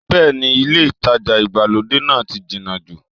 Bẹ́ẹ̀ni ilé ìtajà ìgbàlódé náà ti jìnà jù